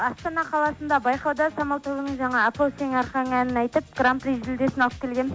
астана қаласында байқауда самал тобының жаңа апа ау сенің арқаң әнін айтып гран при жүлдесін алып келгенмін